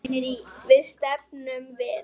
Hvert stefnum við?